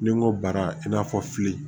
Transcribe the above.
Ni n ko bara in n'a fɔ fili